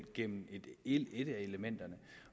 gennem et af elementerne